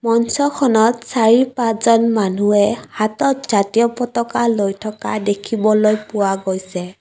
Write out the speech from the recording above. মঞ্চখনত চাৰি-পাঁচজন মানুহে হাতত জাতীয় পতকা লৈ থকা দেখিবলৈ পোৱা গৈছে।